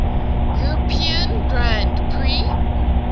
european grand prix